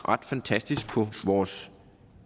ret fantastisk på vores